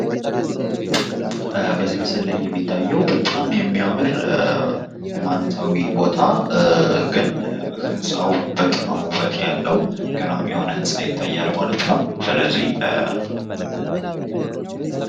በዚህ ምስል ላይ የሚታየው በጣም የሚያምር ሀይማኖታዊ ቦታ ግን ህንፃው በጣም ውበት ያለው ገራሚ የሆነ ህንፃ ይታያል ማለት ነው።